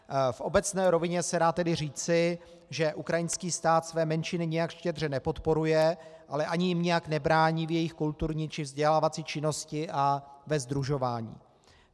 V obecné rovině se dá tedy říci, že ukrajinský stát své menšiny nijak štědře nepodporuje, ale ani jim nijak nebrání v jejich kulturní čí vzdělávací činnosti a ve sdružování.